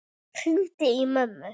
Ég hringdi í mömmu.